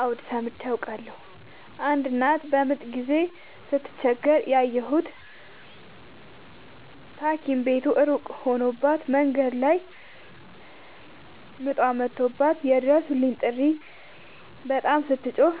አዎድ ሠምቼ አውቃለሁ። አንድ እናት በምጥ ጊዜ ስትቸገር ያየሁት ታኪም ቤቱ እሩቅ ሆኖባት መንገድ ላይ ምጧ መቶባት የይድረሡልኝ ጥሪ በጣም ስትጮህና